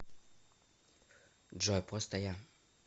джой просто я